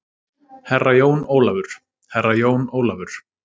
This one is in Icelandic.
Herra Jón Ólafur, Herra jón Ólafur.